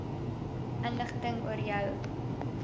inligting oor jou